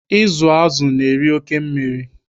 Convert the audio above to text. Ịzụ azụ na-eri oke mmiri.